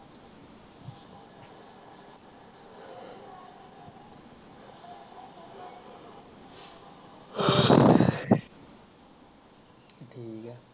ਠੀਕ ਆ